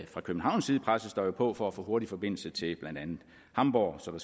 fra københavns side presses der jo på for at få en hurtig forbindelse til blandt andet hamburg så